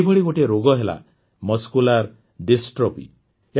ଏଇଭଳି ଗୋଟିଏ ରୋଗ ହେଲା ମସ୍କୁଲାର ଡିଷ୍ଟ୍ରଫି